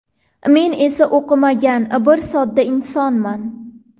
Men esa o‘qimagan, bir sodda insonman.